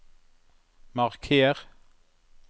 marker